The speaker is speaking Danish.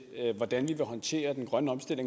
den